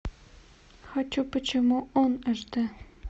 хочу почему он аш д